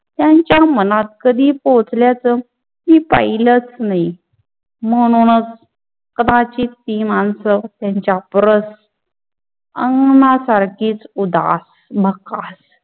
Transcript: त्यांचा मनात कधी पोचलाच हि पहिलाच नाही म्हणूनच कदाचित हि मानस त्येंचा परस सारक उदार आणि मक्कार